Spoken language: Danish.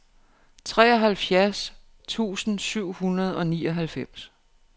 treoghalvtreds tusind syv hundrede og nioghalvfems